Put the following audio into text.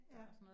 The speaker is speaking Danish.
Ja